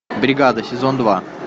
бригада сезон два